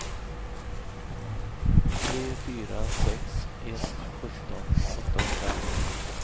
tre fyra sex ett sjutton åttahundraelva